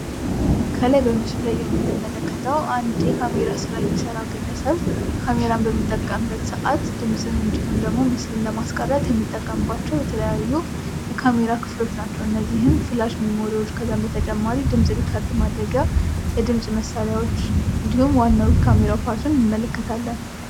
ከላይ በምስሉ ላይ የምንመለከታቸው አንድ የካሜራ ስራ የሚሰራ ግለሰብ ካሜራን በሚጠቀምበት ሰአት ድምጽን እንዲሁም ምስልን ለ ማስቀረት የሚጠቀምባቸው የተለያዩ የካሜራ ክፍሎች ናቸው ።እነዚህም ፍላሽ ሚሞሪዎች ከዛም በተጨማሪ ድምጽ ሪከርድ ማድረጊያ መሣሪያዎች እንዲሁም ዋናው የካሜራው ፓርትን እንመለከታለን ።